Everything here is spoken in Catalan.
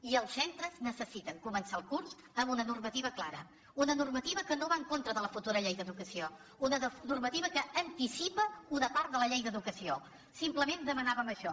i els centres necessiten començar el curs amb una normativa clara una norma·tiva que no va en contra de la futura llei d’educació una normativa que anticipa una part de la llei d’educació simplement demanàvem això